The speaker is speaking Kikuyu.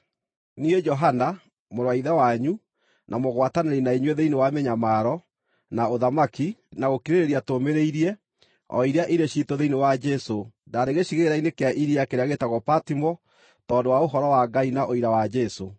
Niĩ, Johana, mũrũ wa ithe wanyu, na mũgwatanĩri na inyuĩ thĩinĩ wa mĩnyamaro, na ũthamaki, na gũkirĩrĩria tũũmĩrĩirie, o iria irĩ ciitũ thĩinĩ wa Jesũ, ndaarĩ gĩcigĩrĩra-inĩ kĩa iria kĩrĩa gĩĩtagwo Patimo tondũ wa Ũhoro wa Ngai na ũira wa Jesũ.